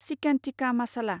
chicken tikka masala